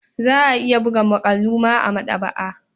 Za a iya buga muƙalu ma a maɗaba'a.